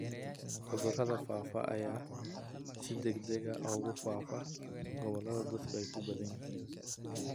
Cudurrada faafa ayaa si degdeg ah ugu faafaya gobollada dadku ku badan yihiin.